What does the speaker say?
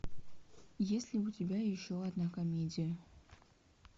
есть ли у тебя еще одна комедия